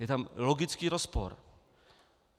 Je tam logický rozpor.